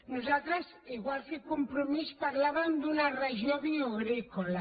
nosaltres igual que el compromís parlàvem d’una regió bioagrícola